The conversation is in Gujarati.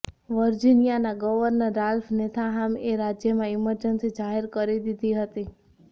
વર્જિનિયાના ગવર્નર રાલ્ફ નોથેહામએ રાજ્યમાં ઈમરજન્સી જાહેર કરી દીધી હતી